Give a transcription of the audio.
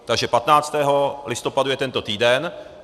Takže 15. listopadu je tento týden.